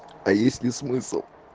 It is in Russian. а есть ли смысл